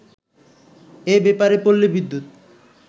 এব্যাপারে পল্লী বিদ্যুৎ